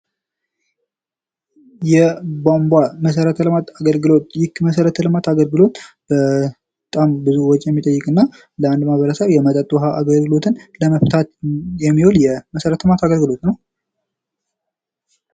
የቧንቧ መሰረተ ልማት አገልግሎት የመሰረተ ልማት አገል ግሎት ይህ የመሰረተ ልማት አገልግሎት በጣም ብዙዎች የሚጠይቅ እና ለእንድ ማህበረሰብ መጠጥ ውሃ አገልግሎትን መፍታት የሚውል የመሰረተ ልማት አገልግሎት ነው።